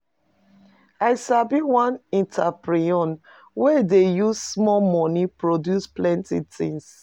I sabi one entreprenuer wey dey use small moni produce plenty tins.